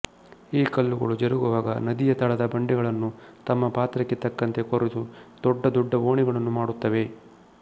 ಈ ಕಲ್ಲುಗಳು ಜರುಗುವಾಗ ನದಿಯ ತಳದ ಬಂಡೆಗಳನ್ನು ತಮ್ಮ ಪಾತ್ರಕ್ಕೆ ತಕ್ಕಂತೆ ಕೊರೆದು ದೊಡ್ಡ ದೊಡ್ಡ ಓಣಿಗಳನ್ನು ಮಾಡುತ್ತವೆ